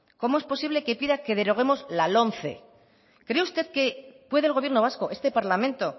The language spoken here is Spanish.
cómo es posible que pida que deroguemos la lomce cree usted que puede el gobierno vasco este parlamento